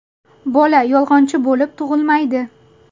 Bola yolg‘onchi bo‘lib tug‘ilmaydi.